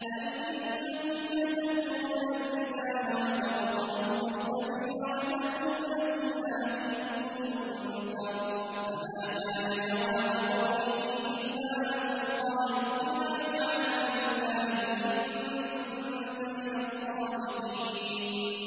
أَئِنَّكُمْ لَتَأْتُونَ الرِّجَالَ وَتَقْطَعُونَ السَّبِيلَ وَتَأْتُونَ فِي نَادِيكُمُ الْمُنكَرَ ۖ فَمَا كَانَ جَوَابَ قَوْمِهِ إِلَّا أَن قَالُوا ائْتِنَا بِعَذَابِ اللَّهِ إِن كُنتَ مِنَ الصَّادِقِينَ